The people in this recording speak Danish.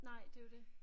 Nej det jo det